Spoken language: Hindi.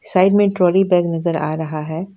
साइड में टॉली बैग नजर आ रहा है।